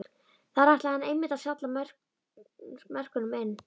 Þar ætlaði hann einmitt að salla mörkunum inn!